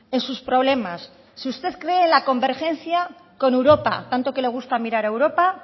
en sus problemas si usted cree en la convergencia con europa tanto que le gusta mirar a europa